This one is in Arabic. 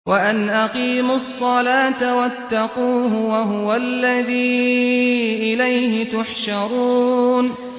وَأَنْ أَقِيمُوا الصَّلَاةَ وَاتَّقُوهُ ۚ وَهُوَ الَّذِي إِلَيْهِ تُحْشَرُونَ